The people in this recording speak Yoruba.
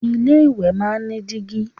Ilé ìwẹ̀ máa ń ní dígí